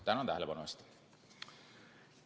Tänan tähelepanu eest!